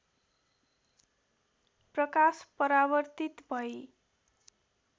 प्रकाश परावर्तित भई